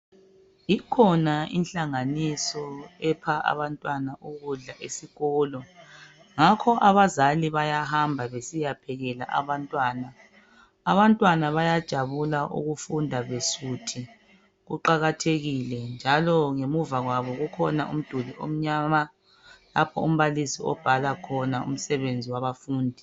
Ikhona inhlanganiso epha abantwana ukudla esikolo ngakho abazali bayahamba besiyaphekela abantwana. Abantwana bayajabula ukufunda besuthi, kuqakathekile njalo ngemuva kwabo kukhona umduli omnyama lapho umbalisi obhala khona umsebenzi wabafundi.